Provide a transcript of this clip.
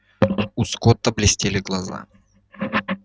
у скотта блестели глаза